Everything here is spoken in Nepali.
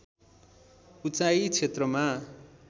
उचाइ क्षेत्रमा